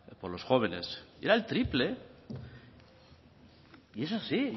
por los jóvenes era el triple y es así